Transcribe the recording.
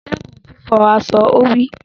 Dẹ́kun fífọ̀ aṣọ! Ó wí.